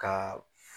Ka